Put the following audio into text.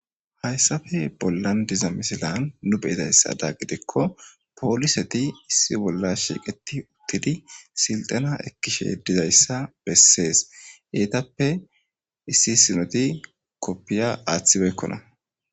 Haysape bollan diza misilan nu be'izaysadan gidikko poliseti issi bolla shiiqidi utidi silxena ekkishe dizaysa besese etappe issi issinoti qofiya athi beykkona